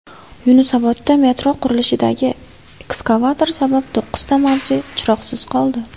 Yunusobodda metro qurilishidagi ekskavator sabab to‘qqizta mavze chiroqsiz qoldi.